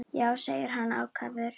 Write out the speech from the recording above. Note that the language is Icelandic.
Já, segir hann ákafur.